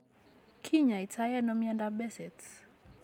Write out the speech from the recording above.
Kinyaaytano myondap Behcet's?